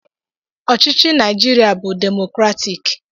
Ọchịchị Naịjirịa bụ demokratik.